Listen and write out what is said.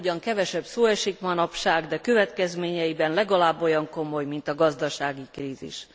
Erről ugyan kevesebb szó esik manapság, de következményeiben legalább olyan komoly, mint a gazdasági krízis.